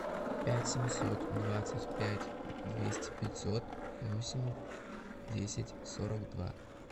пять семьсот двадцать пять двести пятьсот восемь десять сорок два